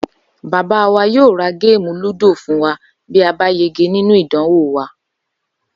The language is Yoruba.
Babá wa yóò ra géèmù lúdò fún wa bí a bá yege nínú ìdánwò wa